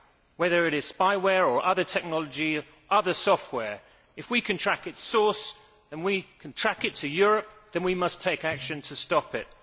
Whether it is spyware or other technology or other software, if we can track its source and can track it to Europe, then we must take action to stop it.